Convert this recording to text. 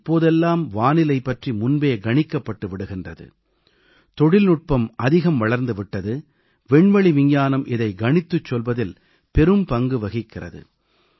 இப்போதெல்லாம் வானிலை பற்றி முன்பே கணிக்கப்பட்டு விடுகின்றது தொழில்நுட்பம் அதிகம் வளர்ந்து விட்டது விண்வெளி விஞ்ஞானம் இதை கணித்துச் சொல்வதில் பெரும்பங்கு வகிக்கிறது